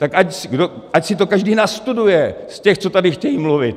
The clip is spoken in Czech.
Tak ať si to každý nastuduje z těch, co tady chtějí mluvit.